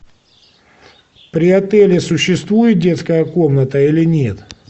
при отеле существует детская комната или нет